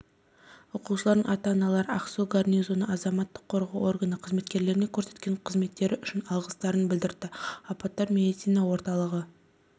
оқушылардың ата-аналары ақсу гарнизоны азаматтық қорғау органы қызметкерлеріне көрсеткен көмектері үшін алғыстарын білдірді апаттар медицина орталығы